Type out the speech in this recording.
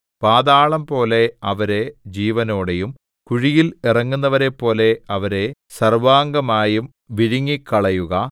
പാതാളംപോലെ അവരെ ജീവനോടെയും കുഴിയിൽ ഇറങ്ങുന്നവരെപ്പോലെ അവരെ സർവ്വാംഗമായും വിഴുങ്ങിക്കളയുക